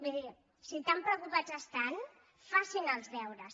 miri si tan pre·ocupants estan facin els deures